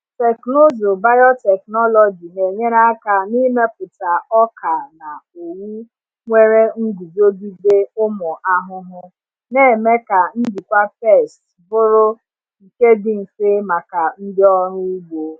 Teknụzụ biotechnology na-enyere aka n’ịmepụta ọka na owu nwere nguzogide ụmụ ahụhụ, na-eme ka njikwa pests bụrụ nke dị mfe maka ndị ọrụ ugbo.